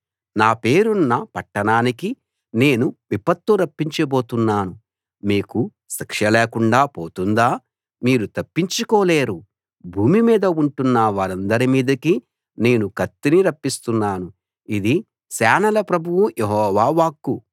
నా పేరున్న పట్టణానికి నేను విపత్తు రప్పించబోతున్నాను మీకు శిక్ష లేకుండా పోతుందా మీరు తప్పించుకోలేరు భూమి మీద ఉంటున్న వారందరి మీదికి నేను కత్తిని రప్పిస్తున్నాను ఇది సేనల ప్రభువు యెహోవా వాక్కు